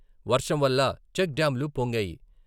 వర్షం వల్ల చెక్ డ్యాంలు పొంగాయి.